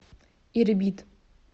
ирбит